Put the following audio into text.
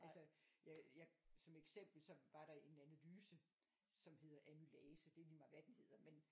Altså jeg jeg som eksempel så var der en analyse som hedder amylase det er ligemeget hvad dem hedder men